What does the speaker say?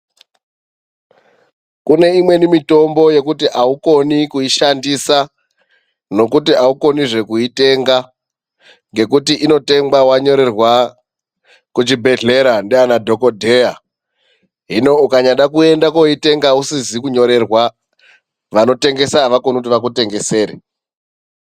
Kune imweni mitombo yekuti aukoni kuishandisa nokuti aukonizve kuitenga ngekuti inotengwa wanyorerwa kuchibhedhlera ndiana dhokodheya. Hino ukanyada kuenda koitenga usizi kunyorerwa vanotengesa avakoni kuti vakutengesere.